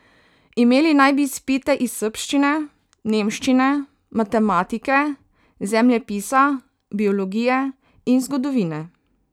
Imeli naj bi izpite iz srbščine, nemščine, matematike, zemljepisa, biologije in zgodovine.